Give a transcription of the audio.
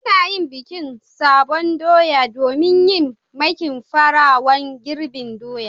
Ana yin bikin sabon doya domin yin makin farawan girbin doya.